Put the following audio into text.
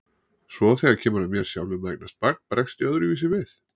Svo þegar kemur að mér sjálfum að eignast barn bregst ég öðruvísi við.